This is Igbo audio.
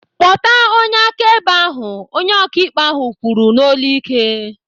"Kpọta onye akaebe ahụ!" Onye ọkaikpe ahụ kwuru n'olu ike.